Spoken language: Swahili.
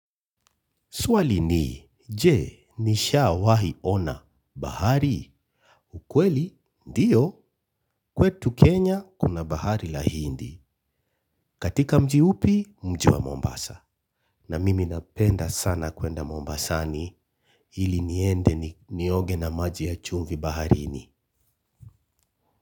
Swali ni, je, nishawahi ona, bahari, ukweli, ndiyo, kwetu Kenya kuna bahari la hindi. Katika mji upi, mji wa Mombasa. Na mimi napenda sana kwenda Mombasani ili niende nioge na maji ya chumvi baharini.